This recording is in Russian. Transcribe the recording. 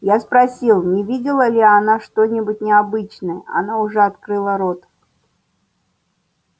я спросил не видела ли она что-нибудь необычное она уже открыла рот